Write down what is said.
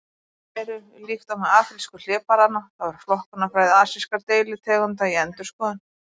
Þær eru: Líkt og með afrísku hlébarðanna þá er flokkunarfræði asískra deilitegunda í endurskoðun.